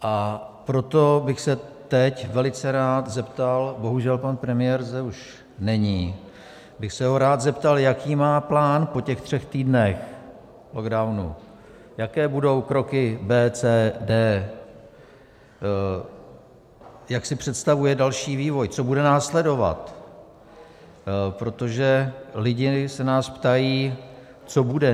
A proto bych se teď velice rád zeptal - bohužel, pan premiér zde už není - bych se ho rád zeptal, jaký má plán po těch třech týdnech lockdownu, jaké budou kroky B, C, D, jak si představuje další vývoj, co bude následovat, protože lidi se nás ptají, co bude.